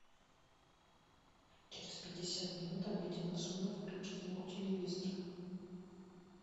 через пятьдесят минут обеденная зона выключи звук у телевизора